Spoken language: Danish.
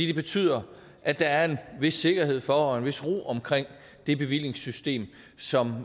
det betyder at der er en vis sikkerhed for og en vis ro omkring det bevillingssystem som